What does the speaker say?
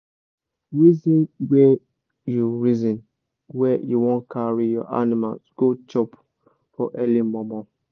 reason where u reason where u wan carry your animals go chop for early mor mor